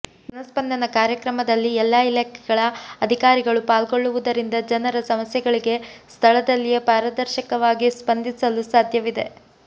ಜನಸ್ಪಂದನ ಕಾರ್ಯಕ್ರಮದಲ್ಲಿ ಎಲ್ಲಾ ಇಲಾಖೆಗಳ ಅಧಿಕಾರಿಗಳು ಪಾಲ್ಗೊಳ್ಳುವುದರಿಂದ ಜನರ ಸಮಸ್ಯೆಗಳಿಗೆ ಸ್ಥಳದಲ್ಲಿಯೇ ಪಾರದರ್ಶಕವಾಗಿ ಸ್ಪಂದಿಸಲು ಸಾಧ್ಯವಿದೆ